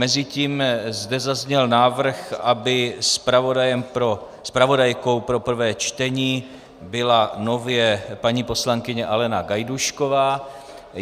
Mezitím zde zazněl návrh, aby zpravodajkou pro prvé čtení byla nově paní poslankyně Alena Gajdůšková.